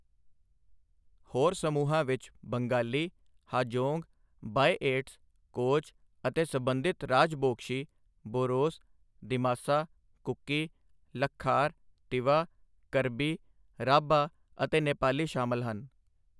ਹੋਰ ਸਮੂਹਾਂ ਵਿੱਚ ਬੰਗਾਲੀ, ਹਾਜੋਂਗ, ਬਾਇਏਟਸ, ਕੋਚ ਅਤੇ ਸਬੰਧਿਤ ਰਾਜਬੋਂਗਸ਼ੀ, ਬੋਰੋਸ, ਦਿਮਾਸਾ, ਕੁਕੀ, ਲੱਖਾਰ, ਤਿਵਾ, ਕਰਬੀ, ਰਾਭਾ ਅਤੇ ਨੇਪਾਲੀ ਸ਼ਾਮਲ ਹਨ।